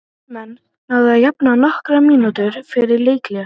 Víðismenn náðu að jafna nokkrum mínútum fyrir leikhlé.